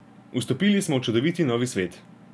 Vstopili smo v čudoviti novi svet.